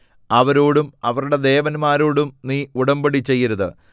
അവരോടും അവരുടെ ദേവന്മാരോടും നീ ഉടമ്പടി ചെയ്യരുത്